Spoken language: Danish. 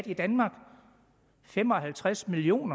i danmark fem og halvtreds million